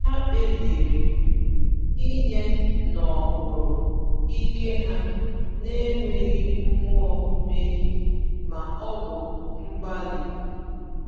Ha kpebiri inye n’okpuru ike ha n’enweghị mmụọ mmehie ma ọ bụ mgbali.